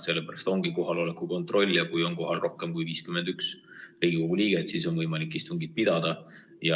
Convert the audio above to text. Sellepärast ongi kohaloleku kontroll ja kui on kohal rohkem kui 51 Riigikogu liiget, siis on võimalik istungit pidada.